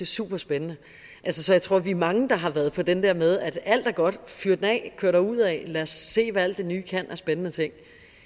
super spændende så jeg tror vi er mange der har været på den der med at alt er godt fyr den af kør derudad lad os se hvad alt det nye kan af spændende ting